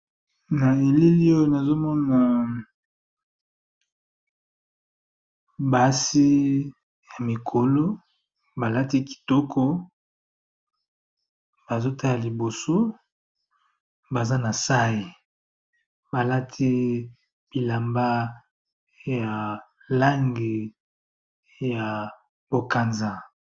Na elili oyo nazo mona basi ya mikolo balati kitoko bazo tala liboso, baza na sai balati bilamba ya lange ya bokanza.